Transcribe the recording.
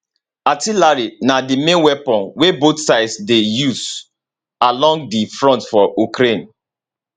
artillery na di main weapon wey both sides dey use along di front for ukraine